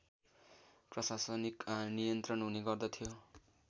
प्रशासनिक नियन्त्रण हुने गर्दथ्यो